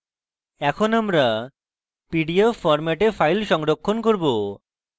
এরপর আমরা pdf ফরম্যাটে file সংরক্ষণ করব